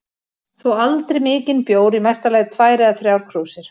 Þó aldrei mikinn bjór, í mesta lagi tvær eða þrjár krúsir.